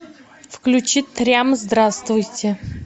включи трям здравствуйте